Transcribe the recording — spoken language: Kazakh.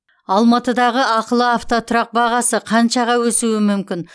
алматыдағы ақылы автотұрақ бағасы қаншаға өсуі мүмкін